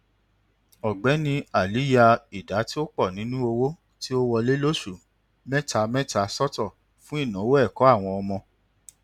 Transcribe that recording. ọgbẹni ali ya ìdá tí ó pọ nínú owó tó ń wọlé lóṣù mẹtamẹta sọtọ fún ìnáwó ẹkọ àwọn ọmọ